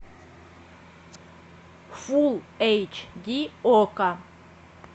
фулл эйч ди окко